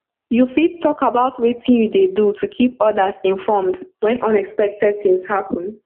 you fit talk about wetin you dey do to keep odas informed when unexpected things happen